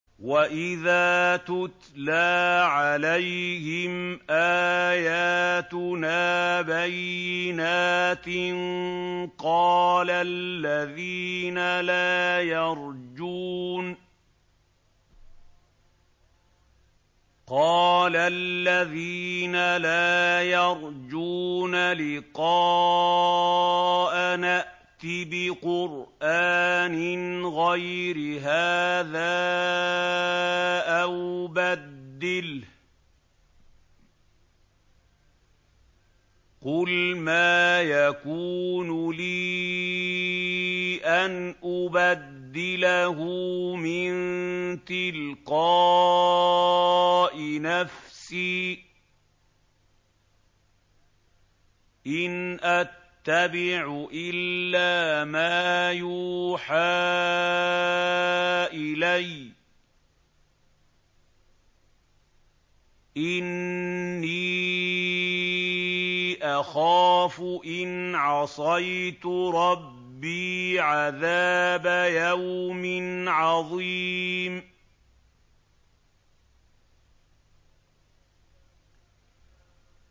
وَإِذَا تُتْلَىٰ عَلَيْهِمْ آيَاتُنَا بَيِّنَاتٍ ۙ قَالَ الَّذِينَ لَا يَرْجُونَ لِقَاءَنَا ائْتِ بِقُرْآنٍ غَيْرِ هَٰذَا أَوْ بَدِّلْهُ ۚ قُلْ مَا يَكُونُ لِي أَنْ أُبَدِّلَهُ مِن تِلْقَاءِ نَفْسِي ۖ إِنْ أَتَّبِعُ إِلَّا مَا يُوحَىٰ إِلَيَّ ۖ إِنِّي أَخَافُ إِنْ عَصَيْتُ رَبِّي عَذَابَ يَوْمٍ عَظِيمٍ